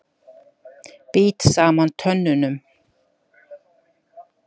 Bít saman tönnunum.